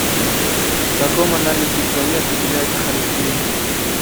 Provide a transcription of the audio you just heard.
в каком анализе крови определяется холестерин